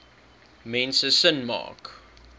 mense sin maak